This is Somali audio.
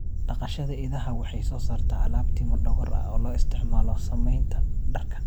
Dhaqashada idaha waxay soo saartaa alaab timo dhogor ah oo loo isticmaalo samaynta dharka.